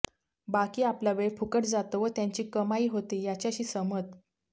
बाकी आपला वेळ फुकट जातो व त्यांची कमाई होते याच्याशी सहमत